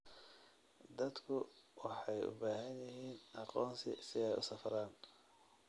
Dadku waxay u baahan yihiin aqoonsi si ay u safraan.